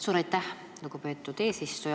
Suur aitäh, lugupeetud eesistuja!